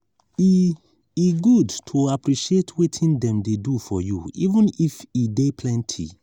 e e good to appreciate wetin dem dey do for you even if e dey plenty.